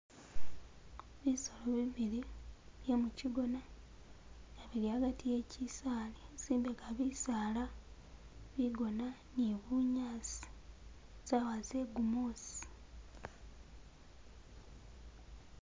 Bisolo bibili bye mukigona, nga bili hagati he kisaali, zimbega bisaala, bigona ni bunyasi, sawa ze gumusi